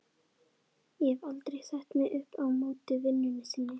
Ég hef aldrei sett mig upp á móti vinnunni þinni.